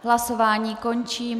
Hlasování končím.